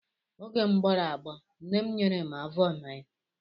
Oge m gbọrọ agbọọ, nne m nyere m avọmaịn.